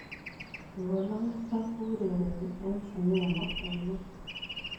Chebo longisa ko kiurereni eng' sinemo ainon